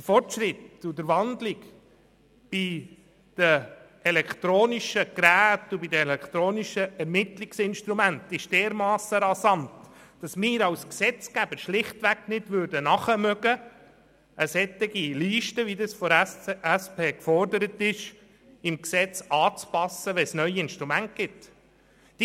Der Fortschritt und der Wandel im Bereich der elektronischen Geräte und der elektronischen Ermittlungsinstrumente ist dermassen rasant, dass wir als Gesetzgeber mit dem Nachführen einer solchen Liste im Gesetz, wie die SP sie verlangt, beim Aufkommen neuer Instrumente schlichtweg nicht nachkämen.